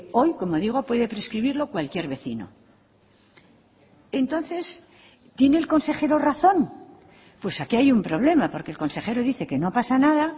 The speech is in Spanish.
hoy como digo puede prescribirlo cualquier vecino entonces tiene el consejero razón pues aquí hay un problema porque el consejero dice que no pasa nada